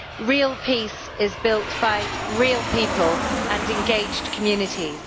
real peace is built by real people and engaged communities.